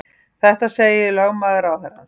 Þetta segir lögmaður ráðherrans